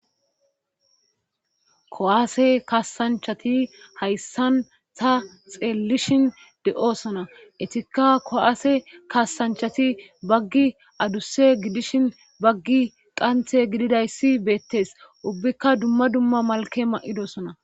kowaase kaasanchati hayssan ta xeellishin de7osona etikka kowaase kaasanchati baggi adusse gidishin baggi qanthe gididayssi beettes ubbikka dumma dumma malke ma7idosona